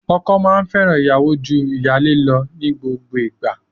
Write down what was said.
Ọkọ máa fẹ́ràn ìyàwó ju ìyálé lọ ní gbogbo ìgbà.